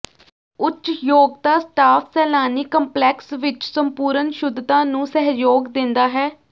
ਉੱਚ ਯੋਗਤਾ ਸਟਾਫ ਸੈਲਾਨੀ ਕੰਪਲੈਕਸ ਵਿਚ ਸੰਪੂਰਣ ਸ਼ੁੱਧਤਾ ਨੂੰ ਸਹਿਯੋਗ ਦਿੰਦਾ ਹੈ